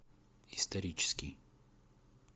исторический